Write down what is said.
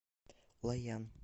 лоян